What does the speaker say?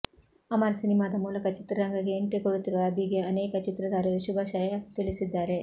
ಅಮರ್ ಸಿನಿಮಾದ ಮೂಲಕ ಚಿತ್ರರಂಗಕ್ಕೆ ಎಂಟ್ರಿ ಕೊಡುತ್ತಿರುವ ಅಭಿಗೆ ಅನೇಕ ಚಿತ್ರತಾರೆಯರು ಶುಭಾಶಯ ತಿಳಿಸಿದ್ದಾರೆ